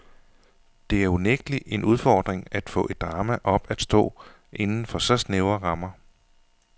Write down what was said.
Det er unægtelig en udfordring at få et drama op at stå inden for så snævre rammer.